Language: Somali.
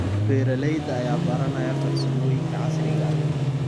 Beeralayda ayaa baranaya farsamooyinka casriga ah.